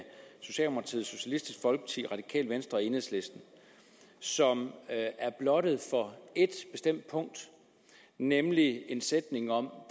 socialdemokratiet socialistisk folkeparti radikale venstre og enhedslisten som er blottet for et bestemt punkt nemlig en sætning om